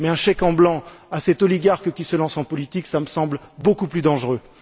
Mais un chèque en blanc à cet oligarque qui se lance en politique, cela me semble beaucoup plus dangereux.